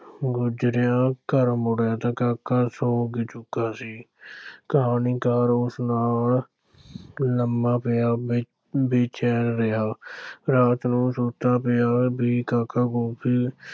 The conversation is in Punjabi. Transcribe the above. ਗੁਜ਼ਰਿਆਂ ਘਰ ਮੁੜਿਆ ਤਾਂ ਕਾਕਾ ਸੌਂ ਚੁੱਕਾ ਸੀ ਕਹਾਣੀਕਾਰ ਉਸ ਨਾਲ ਲੰਮਾ ਪਿਆ ਬੇ ਬੇਚੈਨ ਰਿਹਾ ਰਾਤ ਨੂੰ ਸੁੱਤਾ ਪਿਆ ਵੀ ਕਾਕਾ ਕੁਲਫ਼ੀ